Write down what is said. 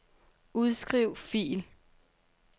Udskriv fil.